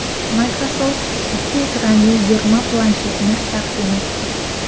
Microsoft ikki ekranli yig‘ma planshetni taqdim etdi .